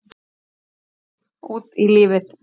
Út í lífið